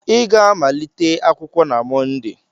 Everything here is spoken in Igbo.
ị ga-amalite akwụkwọ na Mọnde!